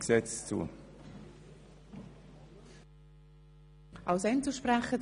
Wir kommen zu den Einzelsprechern.